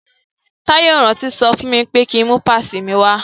Táyé ò rántí sọ fún mi pé ki ń mú pásìì mi wá.